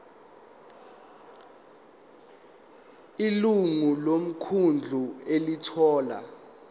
ilungu lomkhandlu elithola